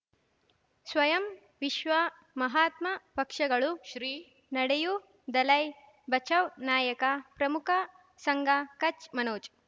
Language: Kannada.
ಸ್ವಯಂ ವಿಶ್ವ ಮಹಾತ್ಮ ಪಕ್ಷಗಳು ಶ್ರೀ ನಡೆಯೂ ದಲೈ ಬಚೌ ನಾಯಕ ಪ್ರಮುಖ ಸಂಘ ಕಚ್ ಮನೋಜ್